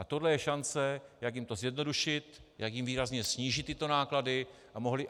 A tohle je šance, jak jim to zjednodušit, jak jim výrazně snížit tyto náklady,